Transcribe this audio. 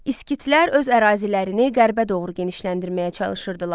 Skitlər öz ərazilərini qərbə doğru genişləndirməyə çalışırdılar.